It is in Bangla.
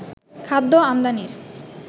খাদ্য আমদানির